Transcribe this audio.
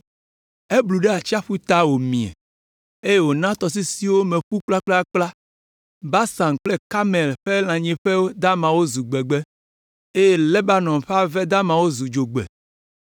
Eblu ɖe atsiaƒu ta wòmie, eye wòna tɔsisiwo me ƒu kplakplakpla. Basan kple Karmel ƒe lãnyiƒe damawo zu gbegbe, eye Lebanon ƒe ave damawo zu dzogbe.